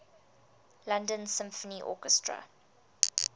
london symphony orchestra